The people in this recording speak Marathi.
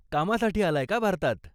कामासाठी आलाय का भारतात?